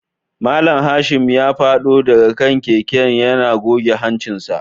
Mallam Kashim ya fado daga kan keken yana goge hancinsa